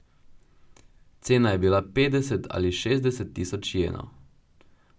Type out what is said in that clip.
Cena je bila petdeset ali šestdeset tisoč jenov.